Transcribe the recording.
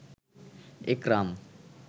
একরাম